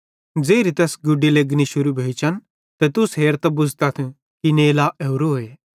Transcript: ज़ेरी तैस गुडी लेगनी शुरू भोइचन त तुस हेरतां बुझ़तथ कि नेला ओरोए